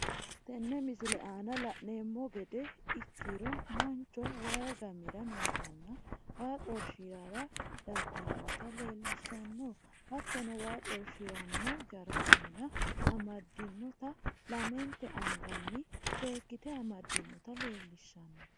Tenne misile lanemmo geede ekkiro manchoo wayyi gammira nootanna waa xorshirrara daginnota lelishanno hattono waa xorshiranno jaarkana amadiinotana lamentee anganni sekitee amadiinota lelishanno.